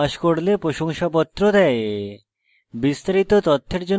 online পরীক্ষা pass করলে প্রশংসাপত্র দেয়